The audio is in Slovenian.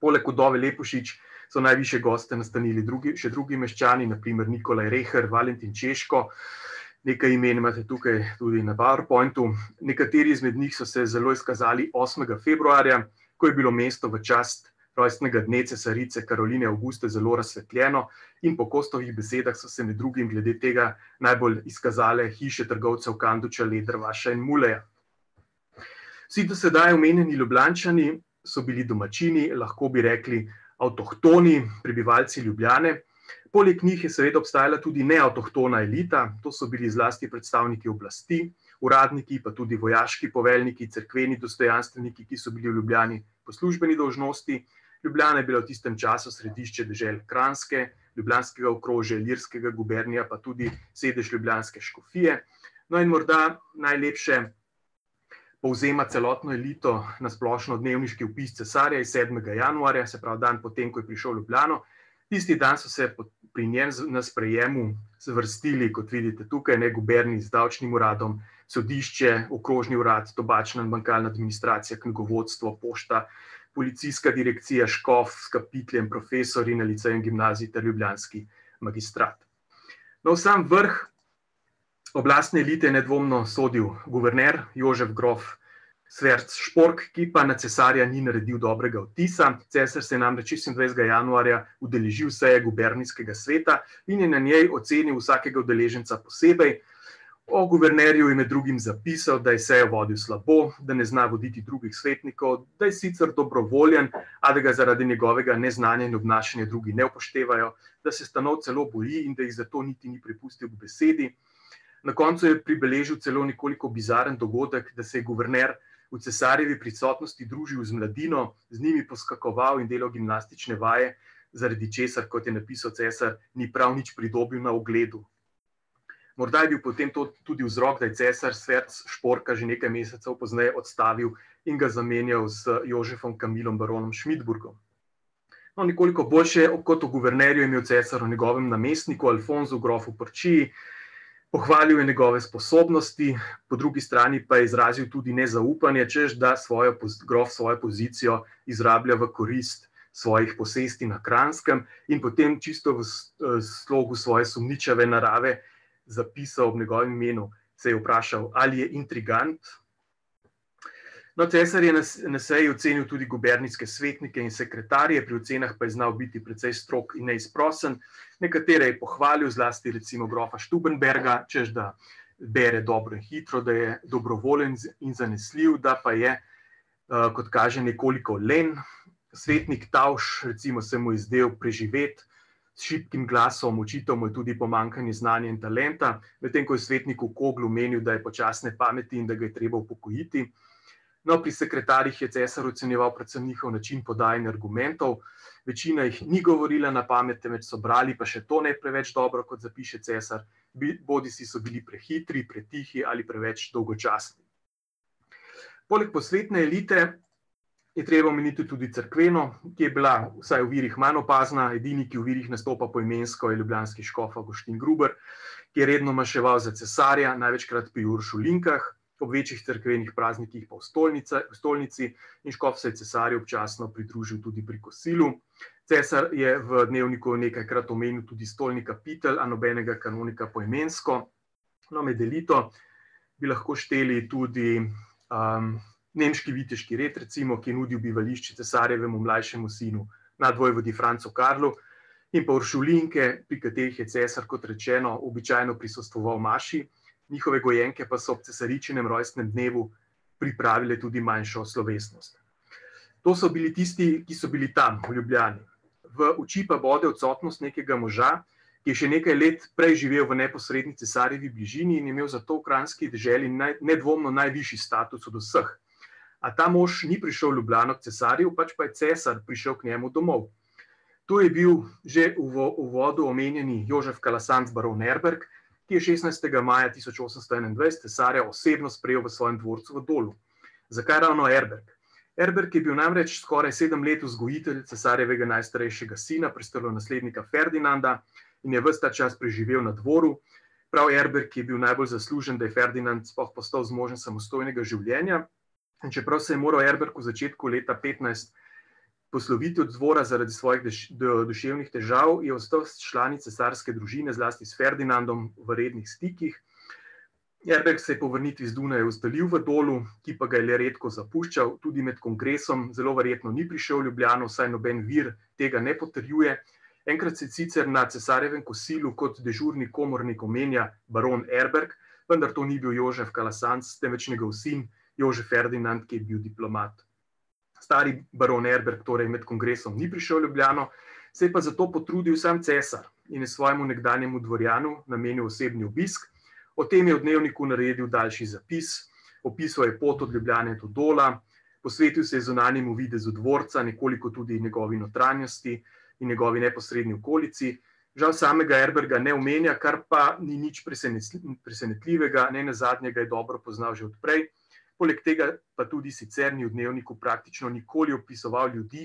Poleg vdove Lepušič so najvišje goste nastanili drugi, še drugi meščani, na primer Nikolaj Rehr, Valentin Češko, nekaj imen imate tukaj tudi na powerpointu, nekateri izmed njih so se zelo izkazali osmega februarja, ko je bilo mesto v čast rojstnega dne cesarice Karoline Avguste zelo razsvetljeno, in po Kostovih besedah so se med drugim glede tega najbolj izkazale hiše trgovcev Kanduča, Letervaša in Muleja. Vsi do sedaj omenjeni Ljubljančani so bili domačini, lahko bi rekli avtohtoni prebivalci Ljubljane. Poleg njih je seveda obstajala neavtohtona elita, to so bili zlasti predstavniki oblasti, uradniki, pa tudi vojaški poveljniki, cerkveni dostojanstveniki, ki so bili v Ljubljani po službeni dolžnosti. Ljubljana je bila v tistem času središče dežel Kranjske, ljubljanskega okrožja, Ilirskega gubernija, pa tudi sedež ljubljanske škofije. No, in morda najlepše povzema celotno elito na splošno dnevniški opis cesarja iz sedmega januarja, se pravi dan po tem, ko je prišel v Ljubljano. Tisti dan so se pri njem na sprejemu zvrstili, kot vidite tukaj, ne, Gubernik z davčnim uradom, sodišče, okrožni urad, tobačna in administracija, knjigovodstvo, pošta, policijska direkcija, škof, profesorji na licejih in gimnaziji ter ljubljanski magistrat. No, v sam vrh oblastne elite je nedvomno sodil guverner, Jožef grof Schwerzpork, ki pa na cesarja ni naredil dobrega vtisa, cesar se je namreč šestindvajsetega januarja udeležil seje gubernijskega sveta in je na njej ocenil vsakega udeleženca posebej. O guvernerju je med drugim zapisal, da je sejo vodil slabo, da ne zna voditi drugih svetnikov, da je sicer dobrovoljen, a da ga zaradi njegovega neznanja in obnašanja drugi ne upoštevajo, da se stanov celo boji in da jih zato niti ni prepustil k besedi. Na koncu je pribeležil celo nekoliko bizaren dogodek, da se je guverner v cesarjevi prisotnosti družil z mladino, z njimi poskakoval in delal gimnastične vaje, zaradi česar, kot je napisal cesar, ni prav nič pridobil na ugledu. Morda je bil potem to tudi vzrok, da je cesar Schwerzporka že nekaj mesecev pozneje odstavil in ga zamenjal z Jožefom Kamilom, baronom Schmittburgom. No, nekoliko boljše kot o guvernerju je imel cesar o njegovem namestniku, Alfonzu grofu Porčiji, pohvalil je njegove sposobnosti, po drugi strani pa je izrazil tudi nezaupanje, češ da svojo grof svojo pozicijo izrablja v korist svojih posesti na Kranjskem. In potem čisto v slogu svoje sumničave narave zapisal, v njegovem imenu se je vprašal, ali je intrigant. No, cesar je na na seji ocenil tudi gubernijske svetnike in sekretarje, pri ocenah pa je znal biti precej strog in neizprosen, nekatere je pohvalil, zlasti recimo grofa Stubenberga, češ da bere dobro, hitro, da je dobrovoljen, in zanesljiv, da pa je, kot kaže, nekoliko len. Svetnik Tausch, recimo, se mu je zdel preživet, s šibkim glasom, očital mu je tudi pomanjkanje znanja in talenta, medtem ko je o svetniku Koglu menili, da je počasne pameti in da ga je treba upokojiti. No, pri sekretarjih je cesar ocenjeval predvsem njihov način podajanja argumentov, večina jih ni govorila na pamet, temveč so brali, pa še to ne preveč dobro, kot zapiše cesar. bodisi so bili prehitri, pretihi ali preveč dolgočasni. Poleg posvetne elite je treba omeniti tudi cerkveno, ki je bila vsaj v virih manj opazna, edini, ki v virih nastopa poimensko, je ljubljanski škof Avguštin Gruber, ki je redno maševal za cesarja, največkrat pri uršulinkah, ob večjih cerkvenih praznikih pa v stolnici in škof se je cesarju občasno pridružil tudi pri kosilu. Cesar je v dnevniku nekajkrat omenil tudi stojnika Pitel, a nobenega kanonika poimensko. No, med elito bi lahko šteli tudi, nemški viteški red, recimo, ki je nudil bivališče cesarjevemu mlajšemu sinu nadvojvodi Francu Karlu, in pa uršulinke, pri katerih je cesar, kot rečeno, običajno prisostvoval maši. Njihove gojenke pa so ob cesaričinem rojstnem dnevu pripravile tudi manjšo slovesnost. To so bili tisti, ki so bili tam, v Ljubljani. V oči pa bo odsotnost nekega moža, ki je še nekaj let prej živel v neposredni cesarjevi bližini in je imel zato v kranjski deželi nedvomno najvišji status od vseh. A ta mož ni prišel v Ljubljano k cesarju, pač pa je cesar prišel k njemu domov. To je bil že v uvodu omenjeni Jožef Kalasant, baron Erberg, ki je šestnajstega maja tisoč osemsto enaindvajset cesarja osebno sprejel v svojem dvorcu v Dolu. Zakaj ravno Erberg? Erberg je bil namreč skoraj sedem let vzgojitelj cesarjevega najstarejšega sina, prestolonaslednika Ferdinanda, in je ves ta čas preživel na dvoru. Prav Erberg je bil najbolj zaslužen, da je Ferdinand sploh postal zmožen samostojnega življenja. In čeprav se je moral Erberg v začetku leta petnajst posloviti od dvora zaradi svojih duševnih težav, je ostal s člani cesarske družine, zlasti s Ferdinandom, v rednih stikih. Erberg se je po vrnitvi z Dunaja ustalil v Dolu, ki pa ga je zelo redko zapuščal, tudi med kongresom zelo verjetno ni prišel v Ljubljano, vsaj noben vir tega ne potrjuje. Enkrat se sicer na cesarjevem kosilu kot dežurni komornik omenja baron Erberg, vendar to ni bil Jožef Galasanc, temveč njegov sin, Jožef Ferdinand, ki je bil diplomat. Stari baron Erbrg torej med kongresom ni prišel v Ljubljano, se je pa za to potrudil sam cesar in je svojemu nekdanjemu dvorjanu namenil osebni obisk. O tem je v dnevniku naredil daljši zapis, opisal je pot od Ljubljane do Dola, posvetil se je zunanjemu videzu dvorca, nekoliko tudi njegovi notranjosti in njegovi neposredni okolici. Žal samega Erberga ne omenja, kar pa ni nič presenetljivega, nenazadnje ga je dobro poznal že od prej. Poleg tega pa tudi sicer ni v dnevniku praktično nikoli opisoval ljudi,